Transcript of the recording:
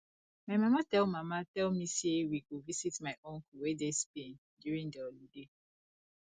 my mama tell mama tell me say we go visit my uncle wey dey spain during the holiday